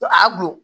A bon